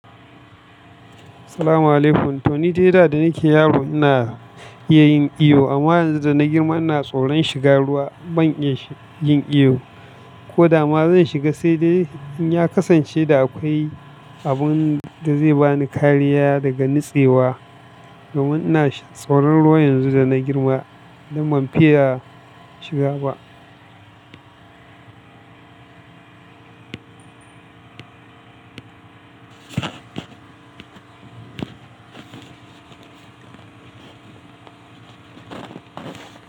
Asaalamualaikum. Toni dai da nike yaro ina iya yin iyo amma yanzu da na girma ina tsoron shiga ruwa ban iya yin iyo. Ko da ma zan shiga saidai in ya kasance da akwai abun da zai bani kariya daga nitsewa. Domin ina tsoron ruwa yanzu da na girma dan ban fiya shiga ba.